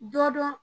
Dɔ dɔn